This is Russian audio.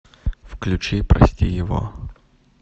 включи прости его